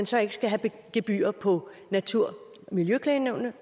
så ikke skal have gebyrer på natur og miljøklagenævnet